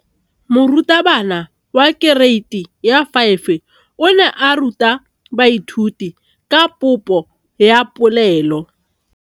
Moratabana wa kereiti ya 5 o ne a ruta baithuti ka popô ya polelô.